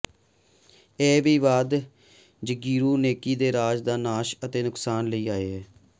ਇਹ ਅਪਵਾਦ ਜਗੀਰੂ ਨੇਕੀ ਨੂੰ ਰਾਜ ਦਾ ਨਾਸ਼ ਅਤੇ ਨੁਕਸਾਨ ਲੈ ਆਏ